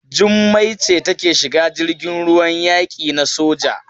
Jummai ce take shiga jirgin ruwan yaki na soja.